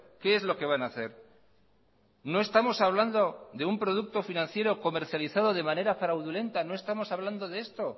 qué es lo que van a hacer no estamos hablando de un producto financiero comercializado de manera fraudulenta no estamos hablando de esto